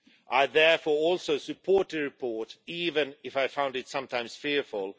I therefore also support the report even if I found it sometimes fearful.